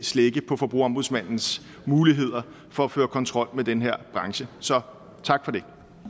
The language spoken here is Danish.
slække på forbrugerombudsmandens muligheder for at føre kontrol med den her branche så tak for